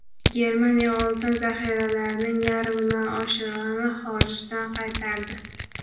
Germaniya oltin zaxiralarining yarmidan oshig‘ini xorijdan qaytardi.